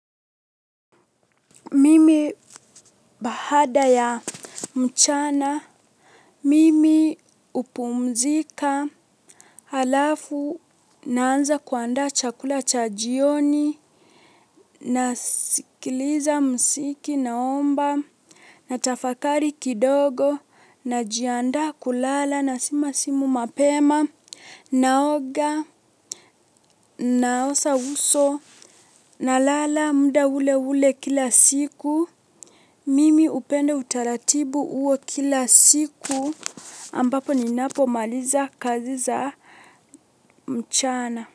Mimi bahada ya mchana, mimi upumzika, alafu naanza kuandaa chakula cha jioni, nasikiliza msiki naomba, natafakari kidogo, najiandaa kulala na sima simu mapema, naoga, naosa uso, na lala mda ule ule kila siku. Mimi upenda utaratibu uo kila siku ambapo ninapo maliza kazi za mchana.